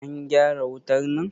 an gyara wutar nan!